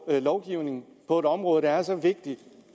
en lovgivning på et område der er så vigtigt